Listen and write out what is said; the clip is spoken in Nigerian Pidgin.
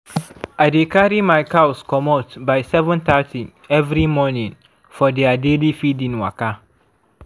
i dey carry my cows commot by 7:30 every morning for their daily feeding waka.